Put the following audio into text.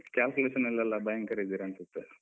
Calculation ಅಲ್ಲೆಲ್ಲ ಭಯಂಕರ ಇದ್ದೀರ ಅನ್ಸುತ್ತೆ.